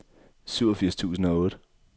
syvogfirs tusind og otte